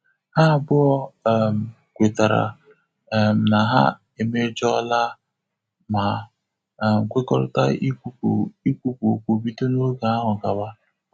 Ha abụọ um kwetara um na ha emejola ma um kwekọrịta ikwupu ikwupu okwu bido n'oge ahụ gawa